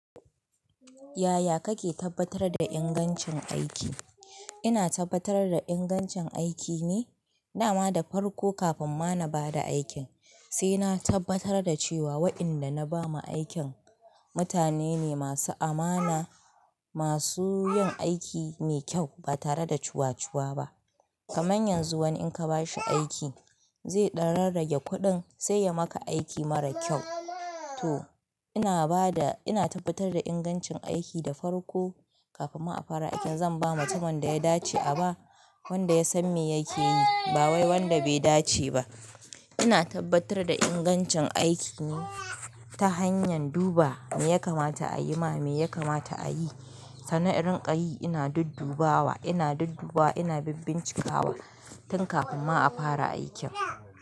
Yaya kake tabbatar da ingancin aiki? Ina tabbatar da ingancin aiki ne, dama da farko kafin ma na bada aikin, sai na tabbatar da cewa wa inda na ba ma aikin mutane ne masu amana, masu yin aiki mai kyau ba tare da cuwacuwa ba. Kaman yanzu wani in ka ba shi aiki zai dan rarrage kuɗin sai ya maka aiki mara kyau. To ina bada, ina tabbatar da ingancin aiki da farko kafin ma a fara aikin. Zan ba mutumin da ya dace aba, wanda ya san me yake yi ba wai wanda bai dace ba. Ina tabbatar da ingancin aiki ne ta hanyan duba me ya kamata a yi ma, me ya kamata a yi. Sann nan in rikayi ina duddubawa, ina duddubawa ina bincikawa tin kafin ma a fara aikin.